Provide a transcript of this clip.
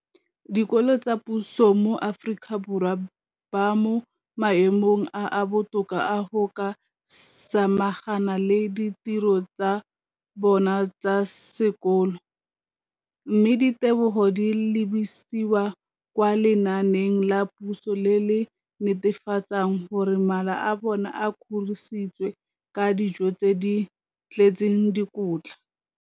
dikolo tsa puso mo Aforika Borwa ba mo maemong a a botoka a go ka samagana le ditiro tsa bona tsa sekolo, mme ditebogo di lebisiwa kwa lenaaneng la puso le le netefatsang gore mala a bona a kgorisitswe ka dijo tse di tletseng dikotla.